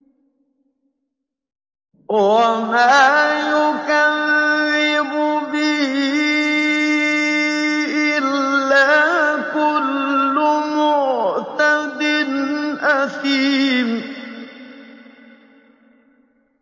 وَمَا يُكَذِّبُ بِهِ إِلَّا كُلُّ مُعْتَدٍ أَثِيمٍ